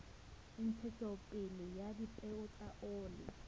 ntshetsopele ya dipeo tsa oli